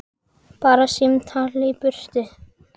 Bara símtal í burtu.